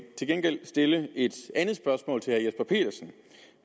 til gengæld stille et andet spørgsmål til herre jesper petersen